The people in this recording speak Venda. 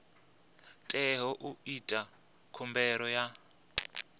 teaho u ita khumbelo ya